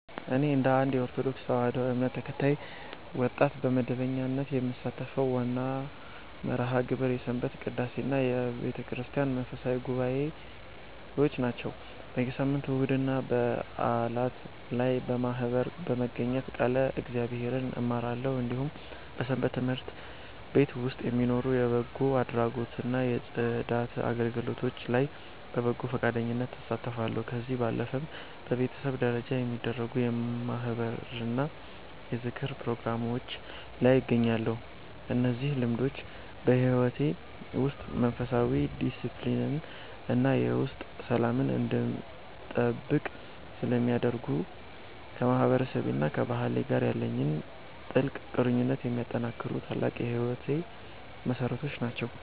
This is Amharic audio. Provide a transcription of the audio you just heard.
እኔ እንደ አንድ የኦርቶዶክስ ተዋሕዶ እምነት ተከታይ ወጣት፣ በመደበኛነት የምሳተፍበት ዋናው መርሃ ግብር የሰንበት ቅዳሴና የቤተክርስቲያን መንፈሳዊ ጉባኤዎች ናቸው። በየሳምንቱ እሁድና በዓላት ላይ በማኅበር በመገኘት ቃለ እግዚአብሔርን እማራለሁ፤ እንዲሁም በሰንበት ትምህርት ቤት ውስጥ በሚኖሩ የበጎ አድራጎትና የጽዳት አገልግሎቶች ላይ በበጎ ፈቃደኝነት እሳተፋለሁ። ከዚህ ባለፈም በቤተሰብ ደረጃ በሚደረጉ የማኅበርና የዝክር ፕሮግራሞች ላይ እገኛለሁ። እነዚህ ልምዶች በሕይወቴ ውስጥ መንፈሳዊ ዲስፕሊንን እና የውስጥ ሰላምን እንድጠብቅ ስለሚያደርጉኝ፣ ከማህበረሰቤና ከባህሌ ጋር ያለኝን ጥልቅ ቁርኝት የሚያጠናክሩ ታላቅ የሕይወቴ መሠረቶች ናቸው።